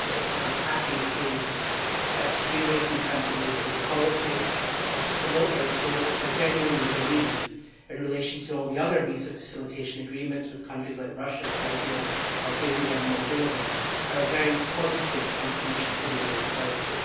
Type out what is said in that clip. I was happy to support this in terms of neighbourhood policy and to promote a report which I genuinely believe, in relation to all the other visa facilitation agreements with countries like Russia, Serbia, Albania and Moldova, makes a very positive contribution to neighbourhood policy.